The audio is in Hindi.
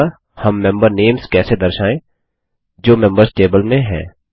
अतः हम मेंबर नेम्स कैसे दर्शायें जो मेंबर्स टेबल में हैं